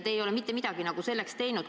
Te ei ole mitte midagi selleks teinud.